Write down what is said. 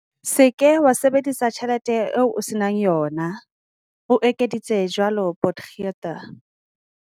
"Se ke wa sebedisa tjhelete eo o se nang yona," o ekeditse jwalo Potgieter.